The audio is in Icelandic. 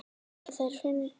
Eru þær fyndnar?